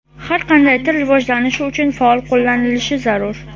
Har qanday til rivojlanishi uchun faol qo‘llanilishi zarur.